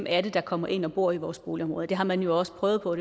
er der kommer ind og bor i vores boligområder det har man også prøvet på